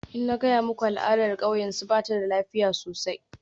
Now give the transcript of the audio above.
Ina gaya muku al'adar kauyensu, ba ta da lafiya sosai.